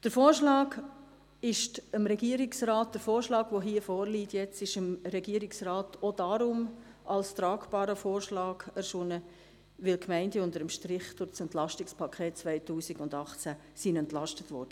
Der vorliegende Vorschlag ist dem Regierungsrat auch deshalb als tragbar erschienen, weil die Gemeinden unter dem Strich durch das EP 2018 entlastet wurden;